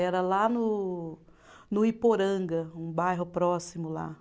Era lá no no Iporanga, um bairro próximo lá.